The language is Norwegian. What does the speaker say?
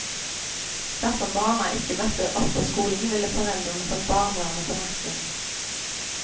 Dersom barna ikke møtte opp på skolen, ville foreldrene fått barnevernet på nakken.